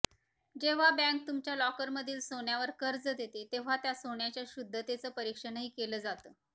जेव्हा बँक तुमच्या लॉकरमधील सोन्यावर कर्ज देते तेव्हा त्या सोन्याच्या शुद्धतेचं परीक्षणही केलं जातं